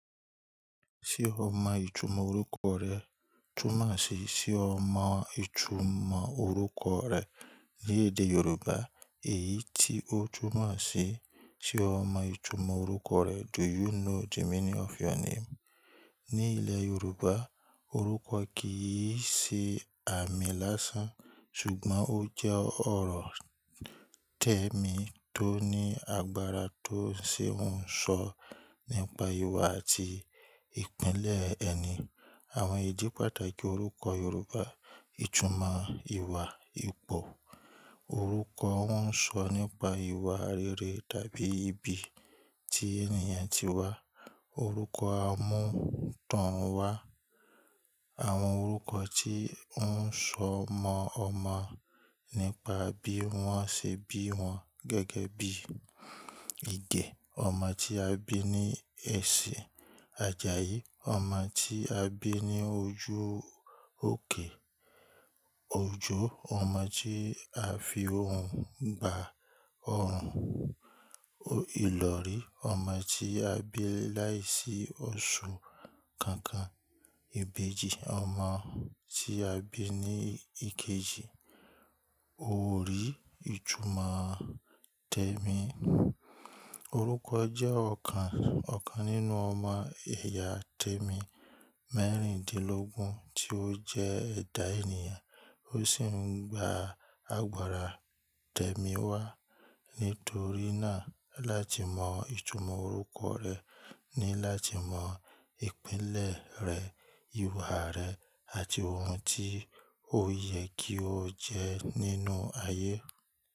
Ṣé o mọ ìtumọ̀ orúkọ rẹ? Túnmọ̀ sí, ṣe o mọ ìtumọ̀ orúkọ rẹ ní èdè Yorùbá? Èyí tí ó túnmọ̀ sí, ṣe o mọ ìtumọ̀ orúkọ rẹ? Do you know the meaning of your name? Ní ilẹ̀ Yorùbá, orúkọ kì í ṣe àmì lásán, ṣùgbọ́n ó jẹ́ ọ̀rọ̀ tẹ̀mí tó ní agbára tó ń ṣe ohun ésọ nípa ìwà àti ìpínlẹ̀ ẹni. Àwọn ìdí pàtàkì orúkọ Yorùbá, ìtumọ̀ ìwà, ipò. Orúkọ ń sọ nípa ìwà rere tàbí ibi tí ènìyàn ti wá. Orúkọ a mútànwá, àwọn orúkọ tí woń sọ ọmọ ọmọ nípa bí wọ́n ṣe bí wọn gẹ́gẹ́ bí, Ìgẹ̀, ọmọ tí a bí ní ẹsẹ̀. Àjàyí, ọmọ tí a bí ní ojú òkè. Òjó, ọmọ tí a fi òun bá òrùn. Ìlọ̀rí, ọmọ tí a bí láìsí òṣù kankan. Ìbejì, ọmọ tí a bí ní ìkejì. Òrí, ìtumọ̀ tẹ̀mí. Orúkọ jẹ́ ọ̀kan nínú ọmọ ẹ̀yà tẹ̀mí mẹ́rìndínlógún tí ó jẹ́ ẹ̀dá ènìyàn, ó sì ń gba agbára tẹ̀mí wá. Nítorí náà, láti mọ ìtumọ̀ orúkọ rẹ ni láti mọ ìpínlẹ̀ rẹ, ìwà rẹ, àti ohun tí ó yẹ kí o jẹ́ nínú ayé.